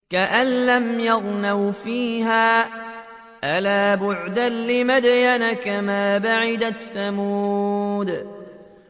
كَأَن لَّمْ يَغْنَوْا فِيهَا ۗ أَلَا بُعْدًا لِّمَدْيَنَ كَمَا بَعِدَتْ ثَمُودُ